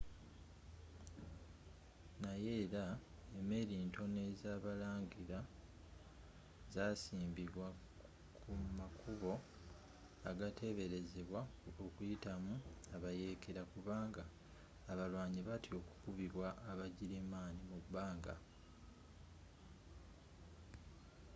naye era emeeri ntono ezabalangira zasiimbibwa kumakubo agateberezebwa okuyitamu abayeekera kubanga abalwanyi batya okukubibwa aba girimaani mubbanga